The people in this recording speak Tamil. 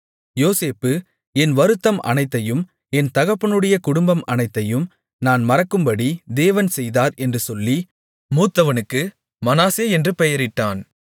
யோசேப்பு என் வருத்தம் அனைத்தையும் என் தகப்பனுடைய குடும்பம் அனைத்தையும் நான் மறக்கும்படி தேவன் செய்தார் என்று சொல்லி மூத்தவனுக்கு மனாசே என்று பெயரிட்டான்